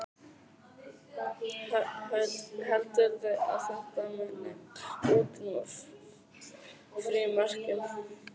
Hödd: Heldurðu að þetta muni útrýma frímerkjum?